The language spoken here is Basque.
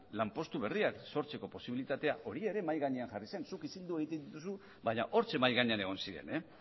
lanpostu berriak sortzeko posibilitatea hori ere mahai gainean jarri zen zuk isiltzen dituzu baina hortxe mahai gainean egon ziren